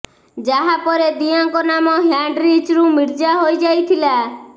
ଯାହା ପରେ ଦିୟାଙ୍କ ନାମ ହ୍ୟାଣ୍ଡରିଚ୍ରୁ ମିର୍ଜା ହୋଇ ଯାଇଥିଲା